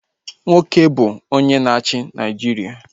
Nwoke bụ ihe na-achị Naịjiria